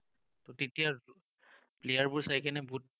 তেতিয়াৰ player বোৰ চাই বহুত